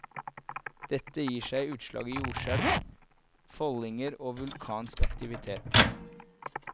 Dette gir seg utslag i jordskjelv, foldinger og vulkansk aktivitet.